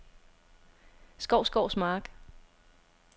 Skovsgårds Mark